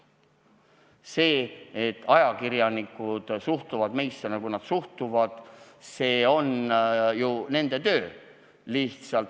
See, et ajakirjanikud suhtuvad meisse, nagu nad suhtuvad – see on ju nende töö.